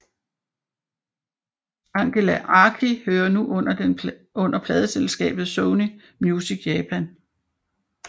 Angela Aki hører nu under pladeselskabet Sony Music Japan